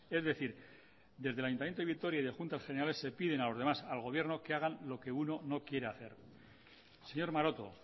es decir desde el ayuntamiento de vitoria y de juntas generales se piden a los demás al gobierno que hagan lo que uno no quiere hacer señor maroto